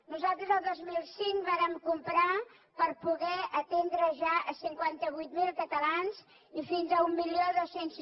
nosaltres el dos mil cinc vàrem comprar per poder atendre ja a cinquanta vuit mil catalans i fins a mil dos cents